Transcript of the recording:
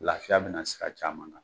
Lafiya bɛna sira caman na